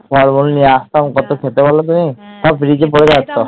ফলমূল নিয়ে আসতাম কত খেতে বলো তুমি সব fridge এ পরে থাকতো